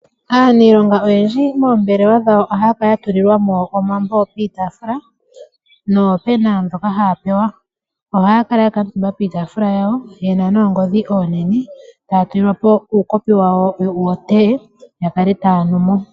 Aaniilonga oyendji moombelwa dhawo ohaya kala ya tulilwa mo omambo piitaafula noopena ndhoka haya pewa. Ohaya kala ya kutuumba piitaafula yawo yena noongodhi oonene etaya tu lilwa po uukopi wotee ya kale taya nu mo.